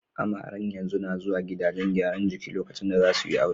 Amaren yanzu na zuwa gidajen gyaran jiki lokacin da za su yi aure.